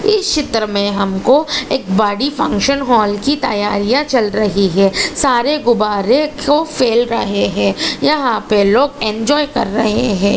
इस चित्र मे हमको एक बड़ी फंक्शन हॉल की तैयारियां चल रही है सारे गुब्बारे क्यों फेल रहे है यहाँ पर लोग एन्जॉय कर रहे हैं।